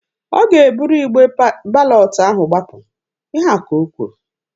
Ọ ga-eburu igbe balọtụ ahụ gbapụ. Ihe a ka o kwuru.